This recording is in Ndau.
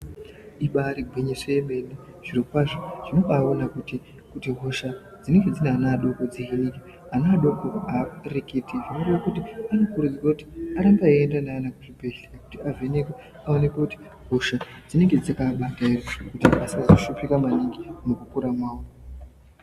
Ibari gwinyiso yemene zviro kwazvo zvinombaaona kuti hosha dzinenge dzina ana vadoko dzeningirwe, Vana adoko haareketi, kureekuti anokurudzirwe kuti arambe aiende nevana kuzvibhedhlera kuti avhenekwe aionekwe kuti hosha dzinenge dzakaabata dzedziri kuti vasazoshupika maningi mukukura mavo.